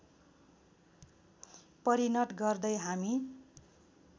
परिणत गर्दै हामी